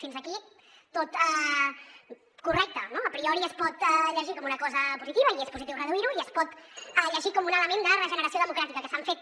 fins aquí tot correcte no a priori es pot llegir com una cosa positiva i és positiu reduir ho i es pot llegir com un element de regeneració democràtica que s’han fet